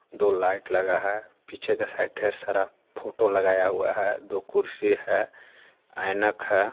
दो लाइट लगा हे पीछे के साइड ढेर सारा फोटो लगाया हुआ हे दो कुर्सी हे आइनाक हे.